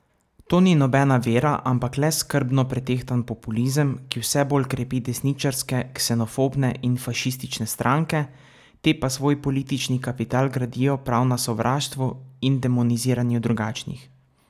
To ni nobena vera, ampak le skrbno pretehtan populizem, ki vse bolj krepi desničarske, ksenofobne in fašistične stranke, te pa svoj politični kapital gradijo prav na sovraštvu in demoniziranju drugačnih.